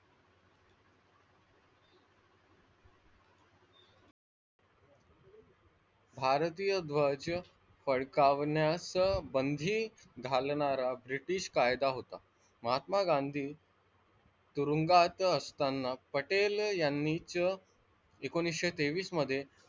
भारतीय ध्वज फडकवण्यास बंदी घालणारा ब्रिटिश कायदा होता महात्मा गांधी तुरुंगात असताना पटेल यांनीच एकोणवीसशे तेवीस मध्ये,